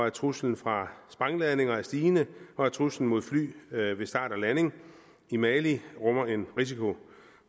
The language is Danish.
at truslen fra sprængladninger er stigende og at truslen mod fly ved ved start og landing i mali rummer en risiko